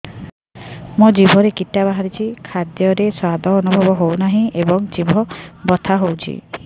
ମୋ ଜିଭରେ କିଟା ବାହାରିଛି ଖାଦ୍ଯୟରେ ସ୍ୱାଦ ଅନୁଭବ ହଉନାହିଁ ଏବଂ ଜିଭ ବଥା ହଉଛି